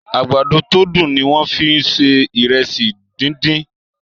àgbàdo to dùn ní wón fí ń ṣe Ìrẹsí dín dín.